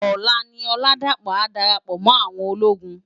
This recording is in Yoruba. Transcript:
Òlá ni Oladapo á dárápò mò áwòn ólógùn.